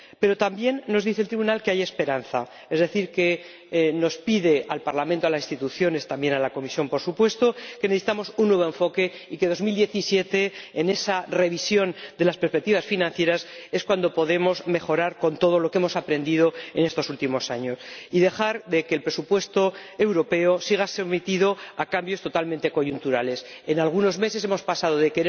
Pero también nos dice el Tribunal que hay esperanza, es decir, nos dice al Parlamento, a las instituciones —también a la Comisión, por supuesto— que necesitamos un nuevo enfoque y que en 2017, en esa revisión de las perspectivas financieras, es cuando podremos mejorar, con todo lo que hemos aprendido en estos últimos años, y conseguir que el presupuesto europeo deje de estar sometido a cambios totalmente coyunturales. En algunos meses hemos pasado